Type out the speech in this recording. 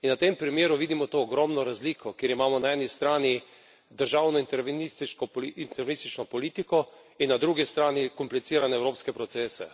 In na tem primeru vidimo to ogromno razliko, kjer imamo na eni strani državno intervenistično politiko in na drugi strani komplicirane evropske procese.